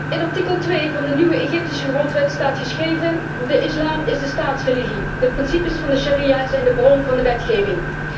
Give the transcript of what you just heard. In artikel 2 van de nieuwe Egyptische grondwet staat geschreven de Islam is de staatsreligie, de principes van de sharia zijn de bron van de wetgeving.